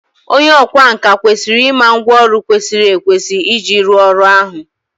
onye ọkwá nkà kwesịrị ịma ngwá ọrụ kwesịrị ekwesị iji rụọ ọrụ ahụ